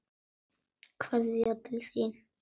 Kveðja til þín.